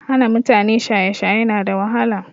Hana mutane shaye shaye na da wahala